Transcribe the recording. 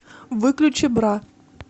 выключи бра